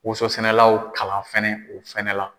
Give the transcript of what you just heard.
Woso sɛnɛlaw kalan fɛnɛ o fɛnɛ la.